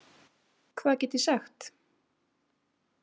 Hvað get ég sagt?